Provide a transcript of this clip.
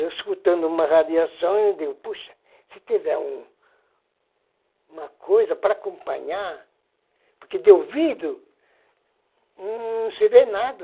Eu, escutando uma radiação, eu digo, poxa, se tiver uma coisa para acompanhar, porque de ouvido não se vê nada.